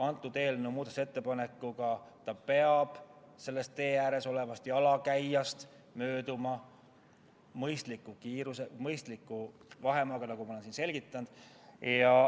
Selle eelnõu muudatusettepanekuga peab ta tee ääres olevast jalakäijast mööduma mõistliku kiirusega, hoides mõistlikku vahemaad, nagu ma olen siin selgitanud.